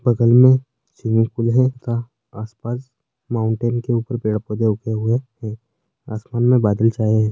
बगल में swimming pool है तथा आस-पास माउंटेन के ऊपर पेड़ पौधे उगे हुए है आसमान में बादल छाए हुए है।